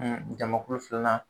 jamakulu filanan